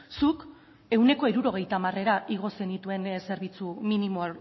zuk ehuneko hirurogeita hamarera igo zenituen zerbitzu minimo